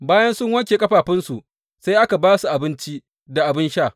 Bayan sun wanke ƙafafunsu, sai aka ba su abinci da abin sha.